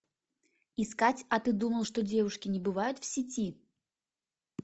искать а ты думал что девушки не бывают в сети